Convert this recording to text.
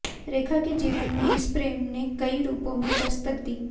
रेखा के जीवन में इस प्रेम ने कई रूपों में दस्तक दी